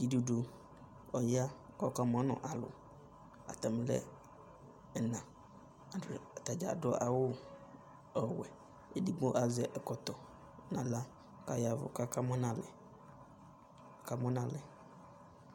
Idudu ɔya kʋ ɔkamʋ nʋ alʋ, atamɩ nʋ ɛna, atadza adʋ awʋ ɔwɛ, edigbo azɛ ɛkɔtɔ nʋ aɣla kʋ aya ɛvʋ kʋ akamʋ nʋ alɛ, akamʋ nʋ alɛ